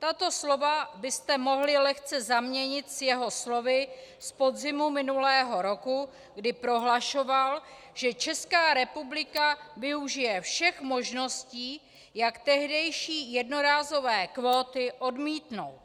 Tato slova byste mohli lehce zaměnit s jeho slovy z podzimu minulého roku, kdy prohlašoval, že Česká republika využije všech možností, jak tehdejší jednorázové kvóty odmítnout.